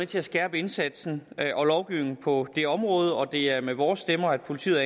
til at skærpe indsatsen og lovgivningen på det område og det er med vores stemmer at politiet